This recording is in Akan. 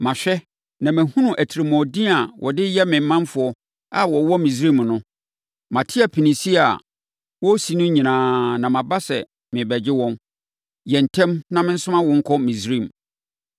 Mahwɛ na mahunu atirimuɔden a wɔde yɛ me manfoɔ a wɔwɔ Misraim no. Mate apinie a wɔresi no nyinaa na maba sɛ merebɛgye wɔn. Yɛ ntɛm na mensoma wo nkɔ Misraim.’